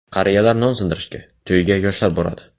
Qariyalar non sindirishga, to‘yga yoshlar boradi.